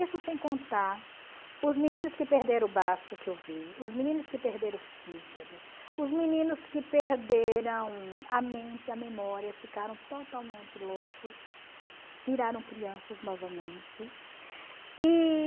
Isso sem contar os meninos que perderam o braço que eu vi, os meninos que perderam o fígado, os meninos que perderam a mente, a memória, ficaram totalmente loucos, viraram crianças novamente.